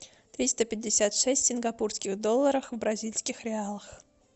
триста пятьдесят шесть сингапурских долларов в бразильских реалах